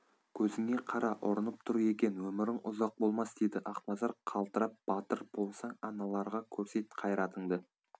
көзіңе қара ұрынып тұр екен өмірің ұзақ болмас деді ақназар қалтырап батыр болсаң аналарға көрсет қайратыңды